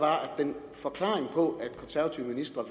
forklaringen på at en konservativ minister